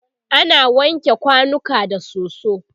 ana wanke kwanuka da soso